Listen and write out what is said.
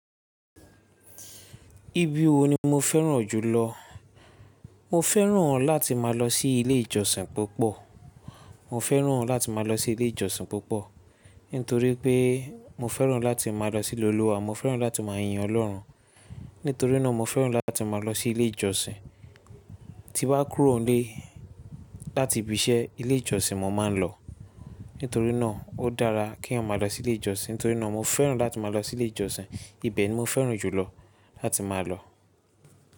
Ibi wo ni mo fẹ́ràn jùlọ? Mo fẹ́ràn láti máa lọ sí ilé ìjọsìn púpọ̀. Mo fẹ́ràn láti máa lọ sí ilé ìjọsìn púpọ̀, nítorí pé mo fẹ́ràn láti máa lọ sílé olúwa. Mo fẹ́ràn láti máa yin Ọlọ́run. Nítorínà mo fẹ́ràn láti máa lọ sí ilé ìjọsìn. Ti bá kúrò ńlé láti ibi iṣẹ́, ilé ìjọsìn mo máa ń lọ. Nítorínà ó dára k’èèyàn máa lọ sílé ìjọsìn. Nítorínà mo fẹ́ràn láti máa lọ sí ilé ìjọsìn. Ibẹ̀ ni mo fẹ́ràn jùlọ láti máa lọ.